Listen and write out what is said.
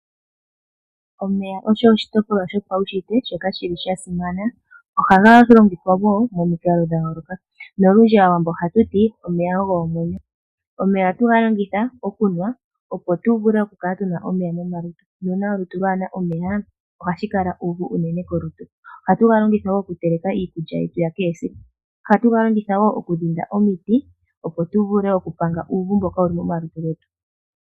Omeya oshitopolwa shopaushitwe noga simana ohaga longithwa omikalo dha yooloka sho osho omuwambo hati omeya omwenyo. Ohaga nuwa opo tu vule oku kala tuna omeya momalutu, ngele owuna olutu lwaana omeya ohashi kala uuvu uunene kolutu. Ohatu ga longitha okutekela iikulya yetu ya kehe siku nokudhinda omiti tu pange uuvu mboka wuli momalutu getu.